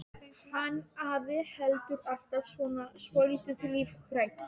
Hann afi hefur alltaf verið svolítið lífhræddur.